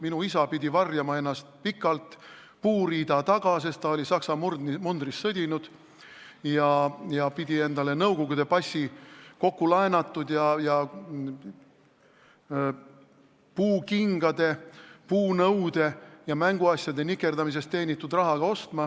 Minu isa pidi ennast pikalt puuriida taga varjama, sest ta oli Saksa mundris sõdinud ja pidi endale Nõukogude passi ostma kokkulaenatud ning puukingade, puunõude ja mänguasjade nikerdamise eest teenitud rahaga.